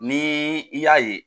Ni i y'a ye